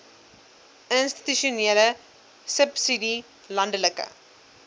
institusionele subsidie landelike